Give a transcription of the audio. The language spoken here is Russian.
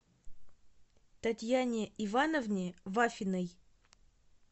татьяне ивановне вафиной